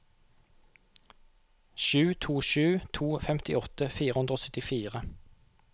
sju to sju to femtiåtte fire hundre og syttifire